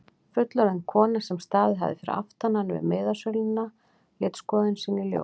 Fullorðin kona sem staðið hafði fyrir aftan hann við miðasöluna lét skoðun sína í ljós.